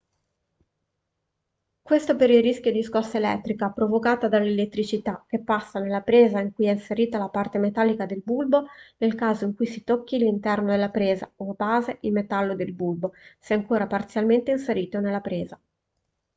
questo per il rischio di scossa elettrica provocata dall'elettricità che passa nella presa in cui è inserita la parte metallica del bulbo nel caso in cui si tocchi l'interno della presa o la base in metallo del bulbo se ancora parzialmente inserito nella presa